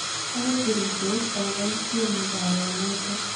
Agot cherutos agoboisien mugaawanoton.